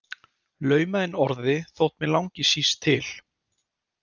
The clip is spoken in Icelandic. Lauma inn orði þótt mig langi síst til.